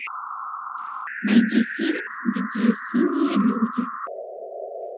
найди фильм где синие люди